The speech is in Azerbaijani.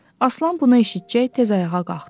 Aslan bunu eşitcək tez ayağa qalxdı.